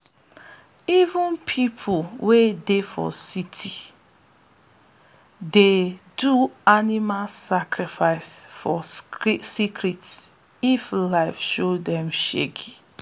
even people wey dey for city dey do animal sacrifice for secret if life show them shege.